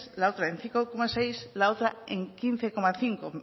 la otra en cinco coma seis la otra en quince cinco